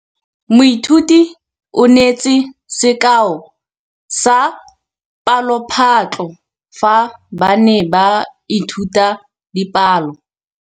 Moithuti o neetse sekaô sa palophatlo fa ba ne ba ithuta dipalo.